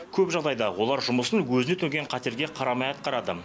көп жағдайда олар жұмысын өзіне төнген қатерге қарамай атқарады